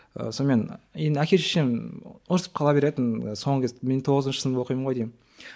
ы сонымен енді әке шешем ұрсысып қала беретін соңғы кезде мен тоғызыншы сынып оқимын ғой деймін